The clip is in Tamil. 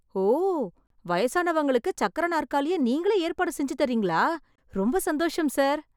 ஓ... வயசானவங்களுக்கு சக்கர நாற்காலியை நீங்களே ஏற்பாடு செஞ்சு தர்றீங்களா... ரொம்ப சந்தோஷம் ஸார்.